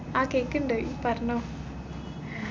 ആ കേക്ക്ണ്ട് ഇ പറഞ്ഞോ